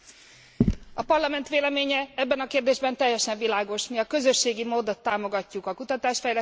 A Parlament véleménye ebben a kérdésben teljesen világos mi a közösségi módot támogatjuk a kutatás fejlesztésben.